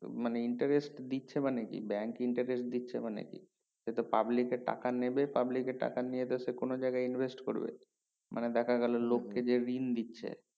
মানে interest দিচ্ছে মানে কি bank interest দিচ্ছে মানে কি সে তো public এর টাকা নেবে public এর টাকা নিয়ে সে তো কোনো জায়গায় interest করবে মানে দেখা গেলো মানে দেখা গেলো লোককে যে ঋণ দিচ্ছে